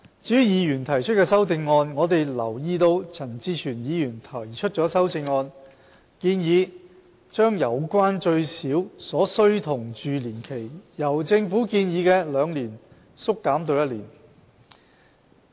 至於議員提出的修正案，我們留意到陳志全議員提出了修正案，建議把有關最少所需同住年期，由政府建議的兩年縮減至一年。